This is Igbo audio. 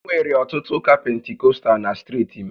Enwere ọtụtụ ụka Pentikọstal na steeti m